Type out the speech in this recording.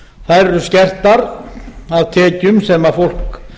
eru skertar af tekjum sem fólk